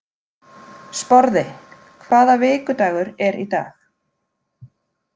Sporði, hvaða vikudagur er í dag?